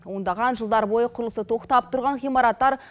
ондаған жылдар бойы құрылысы тоқтап тұрған ғимараттар